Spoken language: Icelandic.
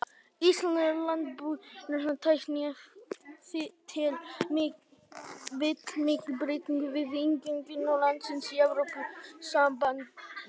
Íslenskur landbúnaður tæki ef til vill miklum breytingum við inngöngu landsins í Evrópusambandið.